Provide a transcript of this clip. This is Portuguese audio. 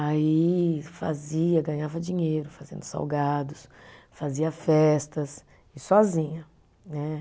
Aí fazia, ganhava dinheiro fazendo salgados, fazia festas e sozinha, né.